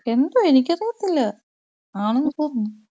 എന്തോ എനിക്ക് അറിയത്തില്ല. ആണെന്ന് തോന്നുന്നു.